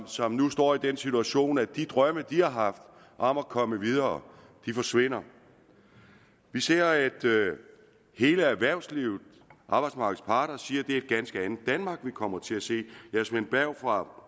som nu står i den situation at de drømme de har haft om at komme videre forsvinder vi ser at hele erhvervslivet arbejdsmarkedets parter siger at er et ganske andet danmark vi kommer til at se ja svend berg fra